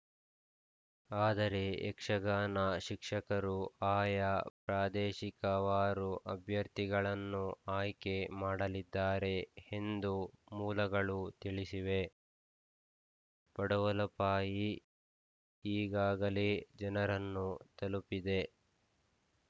ಆದರೆ ಯಕ್ಷಗಾನ ಶಿಕ್ಷಕರು ಆಯಾ ಪ್ರಾದೇಶಿಕವಾರು ಅಭ್ಯರ್ಥಿಗಳನ್ನು ಆಯ್ಕೆ ಮಾಡಲಿದ್ದಾರೆ ಎಂದು ಮೂಲಗಳು ತಿಳಿಸಿವೆ ಪಡುವಲಪಾಯ ಈಗಾಗಲೇ ಜನರನ್ನು ತಲುಪಿದೆ